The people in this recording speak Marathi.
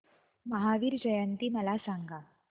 महावीर जयंती मला सांगा